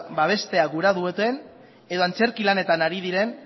babestea gura duten edo antzerki lanetan ari diren